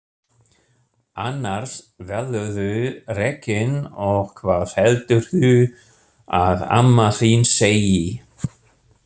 Annars verðurðu rekinn og hvað heldurðu að amma þín segi!